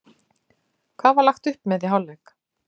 Hvað var lagt upp með í hálfleik?